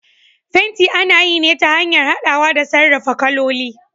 fenti ana yi ne ta hanyar hadawa da sarrafa kaloli.